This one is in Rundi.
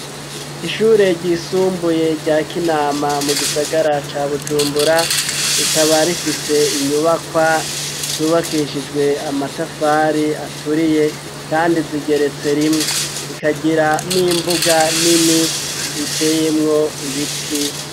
Ishure ryisumbuye rya k'inama mu gisagara ca bujumbura rikaba rifise inyubakwa zubakishijwe amatafari aturiye kandi zigeretse rimwe rikagira n'imbuga nini iteyemwo ibiti.